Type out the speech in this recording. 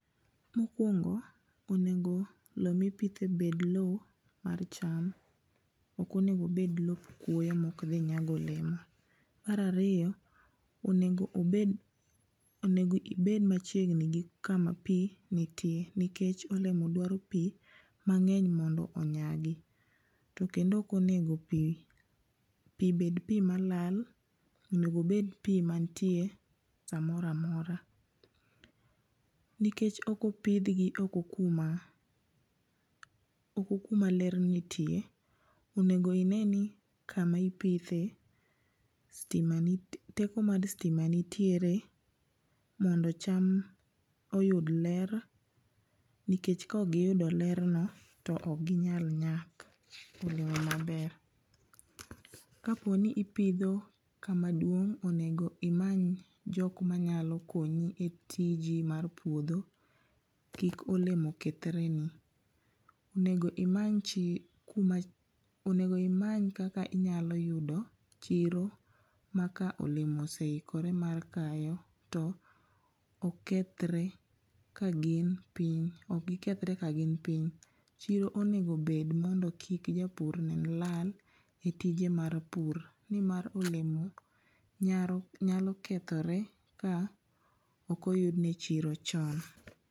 Mokuongo' onengo' lowo mipithe onego' bed lowo mar cham, okonigo obed lop kuoyo ma okthi nyago olemo, marariyo onego obed onengo' ibed machiegni gi kama pi nitie nikech olemo dwaro pi mange'ny mondo onyagi to kendo okonego pi bed pi malal onego obed pi manitie samora mora nikech okopithgi oko kuma oko kuma ler nitie, onego ineni kama ipithe stima nitie teko mar stima nitiere mondo cham oyud ler nikech ka okgiyudo lerno to okgi nyal nyak olemo maber, kaponi ipitho kamaduong' onego imany jok manyalo konyi e tiji mar puotho kik olemo kethreni, onego imany onego imany kika inyalo yudo chiro ma ka olemo oseikore mar kayo to ok kethre ka gin piny ok gikethre ka gin piny, chiro onigo bed mondo kik japur nen lal e tije mar pur ni mar olemo nyalo kethore ka okoyudne chiro chon